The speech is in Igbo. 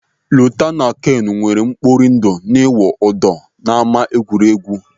Lota na Kenu nweere mkpori ndụ n'ịwụ ụdọ n'ama egwuregwu.